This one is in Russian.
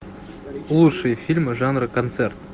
лучшие фильмы жанра концерт